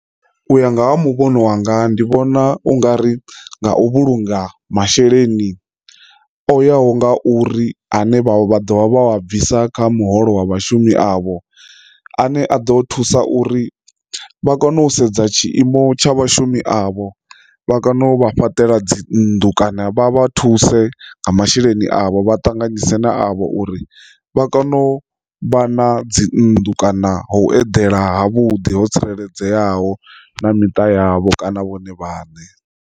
U ya nga ha muvhona wanga ndi vhona ungari nga u vhulunga masheleni o yaho nga uri ane vha vha dovha vha wa bvisa kha muholo wa vhashumi avho a ne a ḓo thusa uri vha kone u sedza tshiimo tsha vhashumi avho vha kone u vha fhaṱela dzi nnḓu kana vha vha thuse nga masheleni avho vha tanganyise na avho uri vha kone u vha na dzi nnḓu kana ho u edela ha vhuḓi ho tsireledzeaho na miṱa yavho kana vhone vhaṋe.